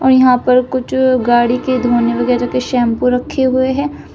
यहां पर कुछ गाड़ी के धोने वगैरा के शैंपू रखे हुए हैं।